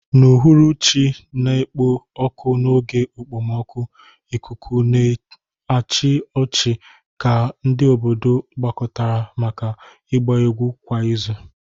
N'uhuruchi na-ekpo ọkụ n'oge okpomọkụ, ikuku na-achị ọchị ka ndị obodo gbakọtara maka ịgba egwu kwa izu.